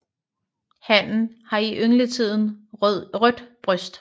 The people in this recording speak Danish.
Hannen har i yngletiden rødt bryst